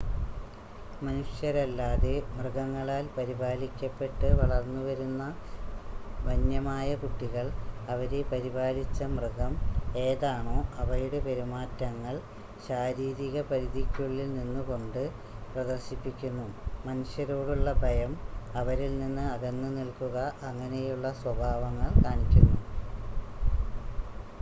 മനുഷ്യരല്ലാതെ മൃഗങ്ങളാൽ പരിപാലിക്കപ്പെട്ട് വളർന്നു വരുന്ന വന്യമായ കുട്ടികൾ അവരെ പരിപാലിച്ച മൃഗം ഏതാണോ അവയുടെ പെരുമാറ്റങ്ങൾ ശാരീരിക പരിധിക്കുള്ളിൽ നിന്നുകൊണ്ട് പ്രദർശിപ്പിക്കുന്നു. മനുഷ്യരോടുള്ള ഭയം അവരിൽ നിന്ന് അകന്ന് നിൽക്കുക അങ്ങനെയുള്ള സ്വഭാവങ്ങൾ കാണിക്കുന്നു